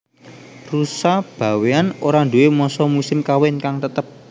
Rusa Bawéan ora nduwé masa musim kawin kang tetep